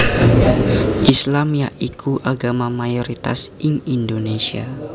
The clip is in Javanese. Islam ya iku agama mayoritas ing Indonesia